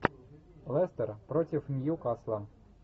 лестер против ньюкасла